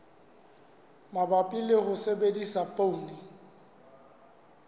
mabapi le ho sebedisa poone